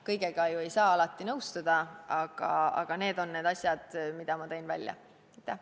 Kõigega ei saa alati nõustuda, aga need on need asjad, mis ma esile tõin.